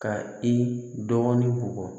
Ka i dɔɔnin bugɔ